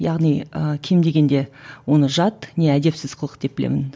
яғни ы кем дегенде оны жат не әдепсіз қылық деп білемін